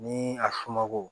Ni a somɔgɔw